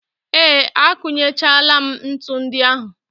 Ee, akụnyechaala m ntu ndị ahụ.